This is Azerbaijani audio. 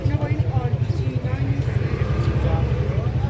Bunlar orijinal şeirdir.